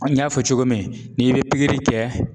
n y'a fɔ cogo min n'i be pikiri kɛ